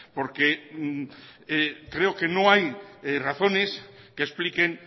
porque creo que no hay razones que expliquen